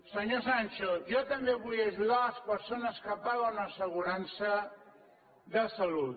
senyor sancho jo també vull ajudar a les persones que paguen assegurança de salut